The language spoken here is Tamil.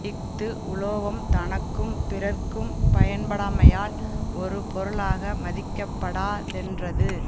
இஃது உலோபம் தனக்கும் பிறர்க்கும் பயன்படாமையால் ஒரு பொருளாக மதிக்கப்படா தென்றது